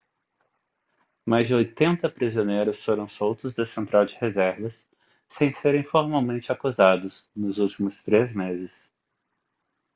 mais de 80 prisioneiros foram soltos da central de reservas sem serem formalmente acusados nos últimos três meses